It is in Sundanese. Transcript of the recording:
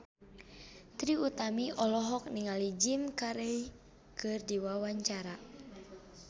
Trie Utami olohok ningali Jim Carey keur diwawancara